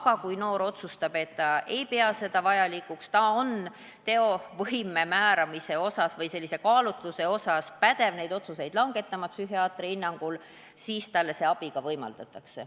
Aga kui noor otsustab, et ta ei pea seda vajalikuks ja ta on psühhiaatri hinnangul sellise kaalutluse osas pädev neid otsuseid langetama, siis talle sellist abi ka võimaldatakse.